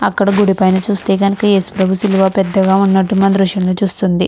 అక్కడ గుడి పైన చూస్తే కనుక యేసు ప్రభు సిలువ పెద్దగా ఉన్నట్టు మన దృశ్యంలో చూస్తుంది.